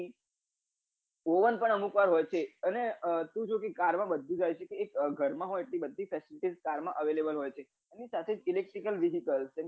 Ovan પણ અમુક વાર હોય છે શું જોઈએ car માં બધું જ આવે છે જે ઘરમાં હોય છે એ બધી fesility car મા available હોય છે એના સાથે electrical vehical